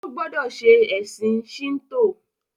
o gbódò ṣe ẹsìn Shinto!